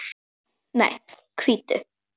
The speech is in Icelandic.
Nei, hvítu.